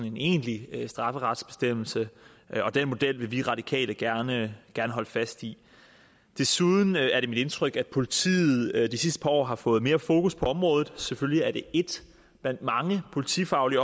en egentlig strafferetsbestemmelse og den model vil vi radikale gerne holde fast i desuden er det mit indtryk at politiet de sidste par år har fået mere fokus på området selvfølgelig er det et blandt mange politifaglige